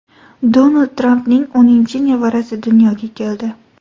Donald Trampning o‘ninchi nevarasi dunyoga keldi.